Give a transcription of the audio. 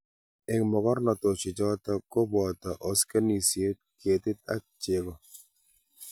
eng mogornotosiechoto ko boto osnosiek, ketik ak chego